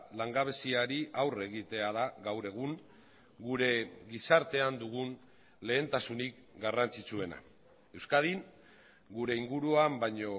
langabeziari aurre egitea da gaur egun gure gizartean dugun lehentasunik garrantzitsuena euskadin gure inguruan baino